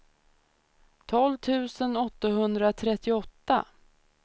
tolv tusen åttahundratrettioåtta